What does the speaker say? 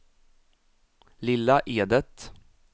Lilla Edet